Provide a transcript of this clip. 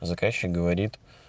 заказчик говорит